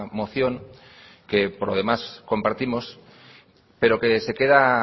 moción que por lo demás compartimos pero que se queda